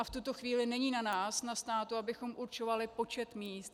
A v tuto chvíli není na nás, na státu, abychom určovali počet míst.